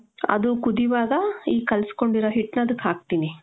ಅದು ಕುದಿವಾಗ ಈ ಕಲ್ಸ್ಕೊಂಡಿರೊ ಹಿಟ್ನ ಅದಕ್ ಹಾಕ್ತೀನಿ .